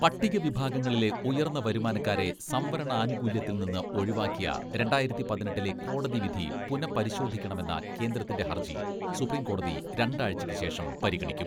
പട്ടികവിഭാഗങ്ങളിലെ ഉയർന്ന വരുമാനക്കാരെ സംവരണാനുകൂല്യത്തിൽ നിന്ന് ഒഴിവാക്കിയ രണ്ടായിരത്തി പതിനെട്ടിലെ കോടതി വിധി പുനഃപരിശോധിക്കണമെന്ന കേന്ദ്രത്തിന്റെ ഹർജി സുപ്രീംകോടതി രണ്ടാഴ്ചക്കുശേഷം പരിഗണിക്കും.